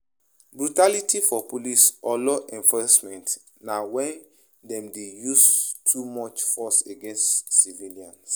Brutality for police or law enforcement na when dem dey use too much force against civilians